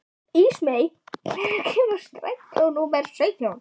Ísmey, hvenær kemur strætó númer sautján?